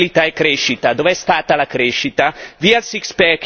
Via il patto di stabilità e crescita, dove è stata la crescita?